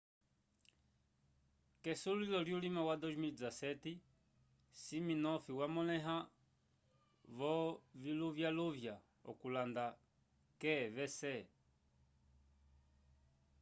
k'esulilo lyulima wa 2017 siminoff yamõleha v'oviluvyaluvya okulanda qvc